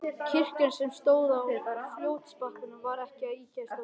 Kirkjan, sem stóð á fljótsbakkanum, var ekki ýkja stór.